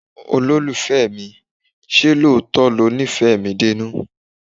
Olólùfẹ́ mi, ṣé lóòótọ́ lo nífẹ̀ẹ́ mi dénú?